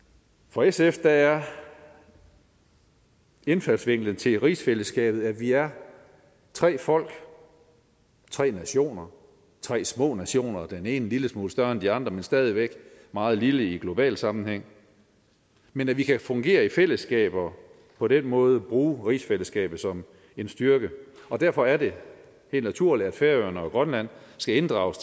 for sf er indfaldsvinklen til rigsfællesskabet at vi er tre folk tre nationer tre små nationer den ene en lille smule større end de andre men stadig væk meget lille i global sammenhæng men at vi kan fungere i fællesskab og på den måde bruge rigsfællesskabet som en styrke og derfor er det helt naturligt at færøerne og grønland skal inddrages